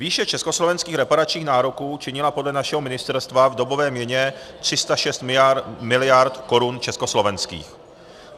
Výše československých reparačních nároků činila podle našeho ministerstva v dobové měně 306 miliard korun československých.